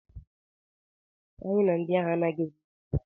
Si ebe ahụ pụọ, anyị na ndị ahụ anaghị emekọ!